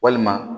Walima